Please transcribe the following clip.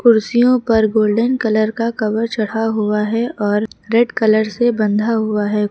कुर्सियों पर golden colour का कवर चढ़ा हुआ है और रेड कलर से बंधा हुआ है।